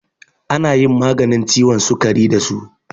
Ana yin maganin ciwon sukari da su.